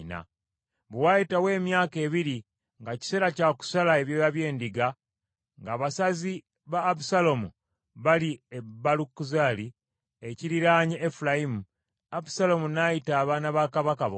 Bwe waayitawo emyaka ebiri nga kiseera kya kusala ebyoya by’endiga, ng’abasazi ba Abusaalomu bali e Baalukazoli, ekiriraanye Efulayimu, Abusaalomu n’ayita abaana ba kabaka bonna.